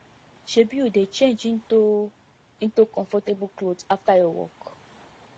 shebi you dey change into into comfortable clothes after your work